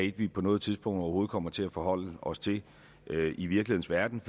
et vi på noget tidspunkt overhovedet kommer til at forholde os til i virkelighedens